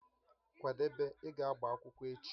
Kwadebe, ị ga agba akwụkwọ echi!